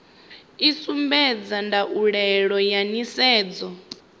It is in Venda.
i sumbedza ndaulo ya nisedzo